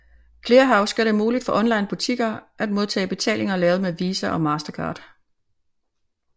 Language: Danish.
Clearhaus gør det muligt for onlinebutikker at modtage betalinger lavet med Visa og Mastercard